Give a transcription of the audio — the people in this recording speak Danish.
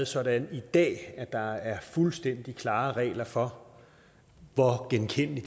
sådan i dag at der er fuldstændig klare regler for hvor genkendelig